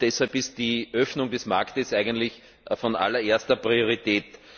Deshalb ist die Öffnung des Marktes eigentlich von allererster Priorität.